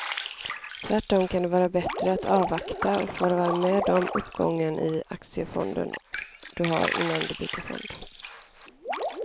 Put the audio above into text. Tvärtom kan det vara bättre att avvakta och få vara med om uppgången i aktiefonden du har innan du byter fond.